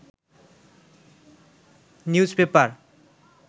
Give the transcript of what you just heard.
news paper